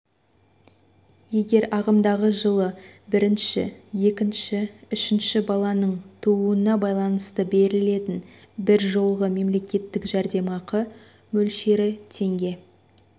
егер ағымдағы жылы бірінші екінші үшінші баланың тууына байланысты берілетін бір жолғы мемлекеттік жәрдемақы мөлшері теңге